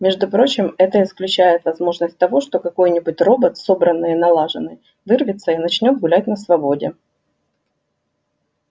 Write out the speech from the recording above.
между прочим это исключает возможность того что какой-нибудь робот собранный и налаженный вырвется и начнёт гулять на свободе